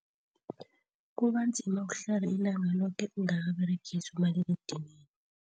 Kubanzima ukuhlala ilanga loke ungakaberegisi umaliledinini.